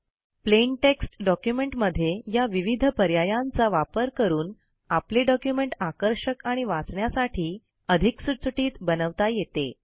plain text document मध्ये या विविध पर्यायांचा वापर करून आपले डॉक्युमेंट आकर्षक आणि वाचण्यासाठी अधिक सुटसुटीत बनवता येते